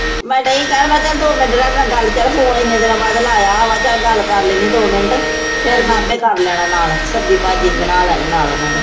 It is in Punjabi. ਮੈਂ ਡਈ ਕਹਿਣ ਮੈਂ ਚੱਲ ਦੋ ਮਿੰਟ ਰਹਿ ਗਏ ਮੈਂ ਗੱਲ ਚੱਲ ਫ਼ੋਨ ਇੰਨੇ ਦਿਨਾਂ ਬਾਅਦ ਲਾਇਆ ਵਾ ਚੱਲ ਗੱਲ ਕਰ ਲੈਨੀ ਹਾਂ ਦੋ ਮਿੰਟ, ਫਿਰ ਮੈਂ ਆਪੇ ਕਰ ਲੈਣਾ ਨਾਲ ਸਬਜ਼ੀ ਭਾਜੀ ਬਣਾ ਲੈਣੀ ਨਾਲ ਉਹਨਾਂ ਦੇ।